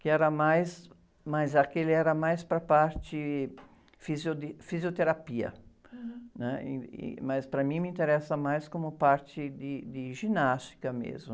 que era, mas aquele era mais para a parte fisio, de fisioterapia, né? Ih, ih, mas para mim, me interessa mais como parte de, de ginástica mesmo.